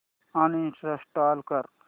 uninstall कर